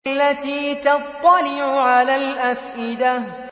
الَّتِي تَطَّلِعُ عَلَى الْأَفْئِدَةِ